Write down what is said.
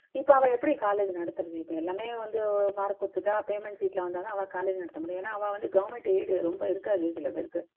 இப்போ அவா எப்படி college நடத்துறது இப்போ எல்லாமே வந்து payment seat ல வந்தா தான் அவா college நடத்த முடியும் ஏன்னா அவா government aid ரொம்ப இருக்காது சில பேருக்கு